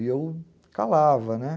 E eu calava, né...